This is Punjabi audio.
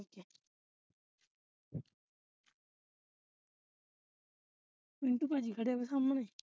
ਮਿੰਟੂ ਭਾਜੀ ਖੜੇ ਹੋਏ ਨੇ ਸਾਹਮਣੇ